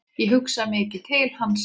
Ég hugsa mikið til hans.